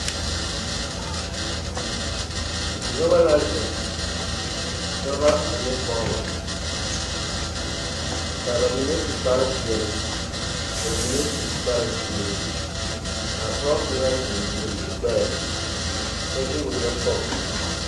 Noba la zeŋ dɔba ane pɔgeba ka ba mine su kparepeɛlle ka ba mine su kparezeere ka a pɔge kaŋa zeŋ guole o gbɛɛ kyɛ de wagyɛ pɔge o zu.